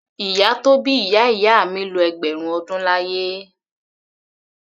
Ìyá tó bí ìyá ìyá mi lo ẹgbẹ̀rún ọdún láyé.